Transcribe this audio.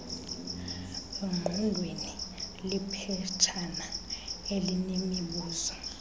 engqondweni liphetshana elinemibuzo